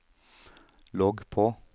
logg på